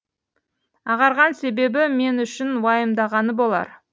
ағарған себебі мен үшін уайымдағаны болар